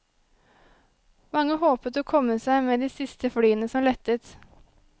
Mange håpet å komme seg med de siste flyene som lettet.